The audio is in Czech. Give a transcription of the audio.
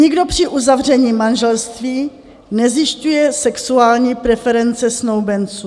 Nikdo při uzavření manželství nezjišťuje sexuální preference snoubenců.